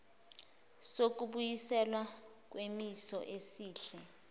sokubuyiselwa kwisimo esihle